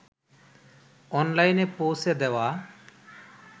অনলাইনে পৌঁছে দেওয়া